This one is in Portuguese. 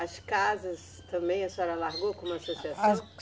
As casas também a senhora largou com associação? As